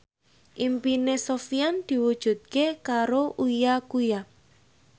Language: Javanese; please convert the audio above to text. impine Sofyan diwujudke karo Uya Kuya